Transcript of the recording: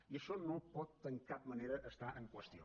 i això no pot en cap manera estar en qüestió